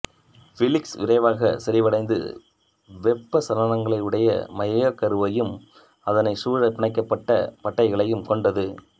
ஃவீலிக்ஸ் விரைவாக செறிவடைந்து வெப்பச் சலனங்கலையுடைய மையக் கருவையும் அதனைச் சூழ பிணையப்பட்ட பட்டைகளையும் கொண்டது